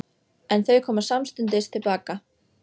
En þau koma samstundis til baka.